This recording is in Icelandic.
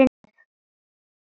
Hann sagði: Þetta er búið.